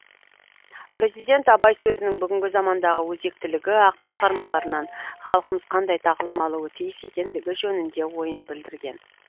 президент абай сөзінің бүгінгі замандағы өзектілігі ақын шығармаларынан халқымыз қандай тағылым алуы тиіс екендігі жөнінде ойын білдірген